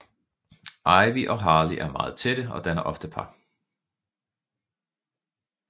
Ivy og Harley er meget tætte og danner ofte par